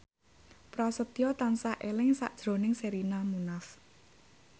Prasetyo tansah eling sakjroning Sherina Munaf